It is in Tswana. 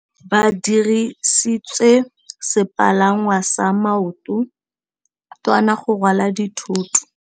Ba dirisitse sepalangwasa maotwana go rwala dithôtô.